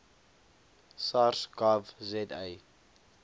sars gov za